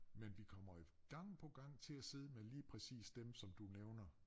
Men vi kommer jo gang på gang til at sidde med lige præcis dem som du nævner